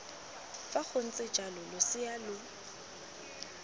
fa gontse jalo losea lo